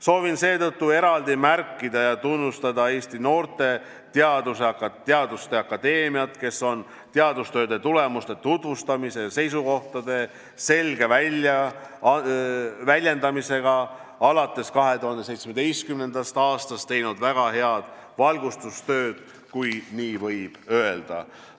Soovin seetõttu eraldi märkida ja tunnustada Eesti Noorte Teaduste Akadeemiat, kes on teadustööde tulemuste tutvustamisega ja seisukohtade selge väljendamisega alates 2017. aastast teinud väga head valgustustööd, kui nii võib öelda.